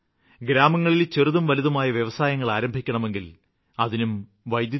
ഗ്രാമങ്ങളില് ചെറുതും വലുതുമായ വ്യവസായങ്ങള് ആരംഭിക്കണമെങ്കില് അതിനും വൈദ്യുതി വേണം